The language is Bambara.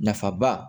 Nafa ba